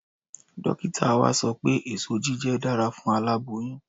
Dókítà wa sọ pé ẹ̀so jíjẹ dára fún aláboyún